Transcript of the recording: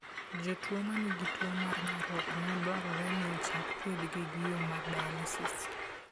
Jotuo ma nigi tuwo mar nyarogno, dwarore ni ochak thiedhgi gi yoo mar dialysis.